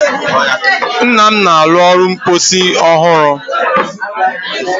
Nnam na-arụ ụlọ mposi ọ hụrụ.